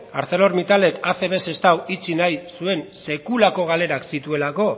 arcelormittalek acb sestao itxi nahi zuen sekulako galerak zituelako